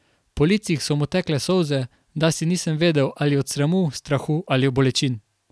Po licih so mu tekle solze, dasi nisem vedel, ali od sramu, strahu ali bolečin.